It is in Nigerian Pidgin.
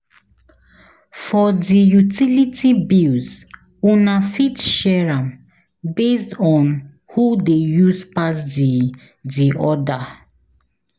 For di utility bills Una fit share am based on who de use pass di di other